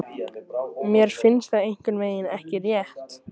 Mér finnst það einhvernveginn ekki rétt.